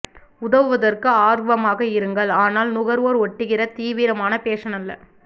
உதவுவதற்கு ஆர்வமாக இருங்கள் ஆனால் நுகர்வோர் ஓட்டுகின்ற தீவிரமான பேஷன் அல்ல